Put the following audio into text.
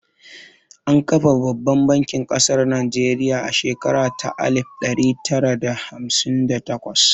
An kafa babbar bankin ƙasar Najeriya a shekara ta alif ɗari tara da hamsin da takwas